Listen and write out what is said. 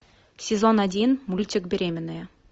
сезон один мультик беременная